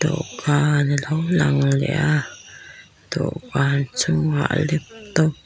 dawhkan alo lang leh a dawhkan chungah laptop --